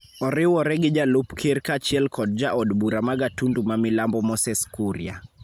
oriwore gi Jalup Ker kaachiel kod ja od bura ma Gatundu ma Milambo Moses Kuria.